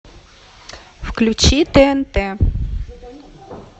включи тнт